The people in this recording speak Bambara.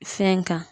Fɛn kan